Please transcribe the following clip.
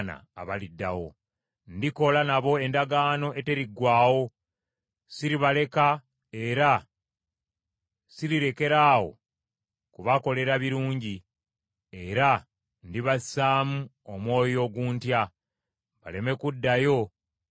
Ndikola nabo endagaano eteriggwaawo: siribaleka era sirirekeraawo kubakolera birungi, era ndibassaamu omwoyo oguntya, baleme kuddayo kunvaako.